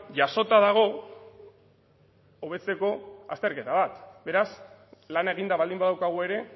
jasota dago hobetzeko azterketa bat beraz lan eginda baldin badaukagu ere